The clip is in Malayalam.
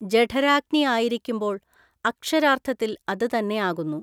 ജഠരാഗ്നി ആയിരിക്കുമ്പോൾ അക്ഷരാർത്ഥത്തിൽ അത് തന്നെയാകുന്നു.